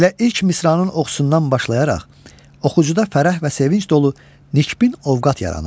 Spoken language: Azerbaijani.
Elə ilk misranın oxşusundan başlayaraq oxucuda fərəh və sevinc dolu nikbin ovqat yaranır.